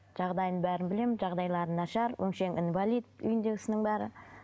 жағдайын бәрін білемін жағдайлары нашар өңшең инвалид үйіндегісінің бәрі